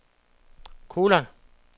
kolon